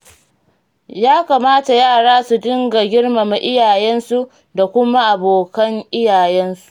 Ya kamata yara su dinga girmama iyayensu da kuma abokan iyayensu.